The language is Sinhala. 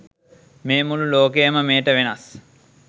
මේ මුළු ලෝකයම මෙයට වෙනස්.